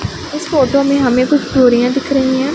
इस फोटो में हमें कुछ चूड़ियां दिख रही है।